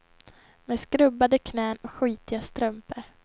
Med skrubbade knän och skitiga strumpor.